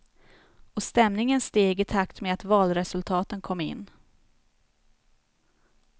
Och stämningen steg i takt med att valresultaten kom in.